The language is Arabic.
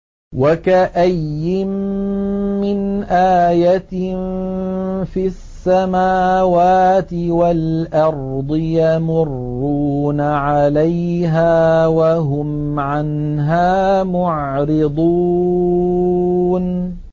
وَكَأَيِّن مِّنْ آيَةٍ فِي السَّمَاوَاتِ وَالْأَرْضِ يَمُرُّونَ عَلَيْهَا وَهُمْ عَنْهَا مُعْرِضُونَ